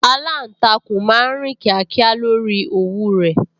Aláǹtakùn máa ń rìn kíákíá lórí òwú rẹ̀